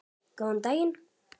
Góðan daginn.